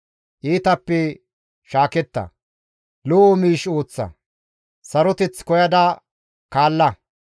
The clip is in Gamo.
Iitappe shaaketta; lo7o miish ooththa; saroteth koyada kaalla.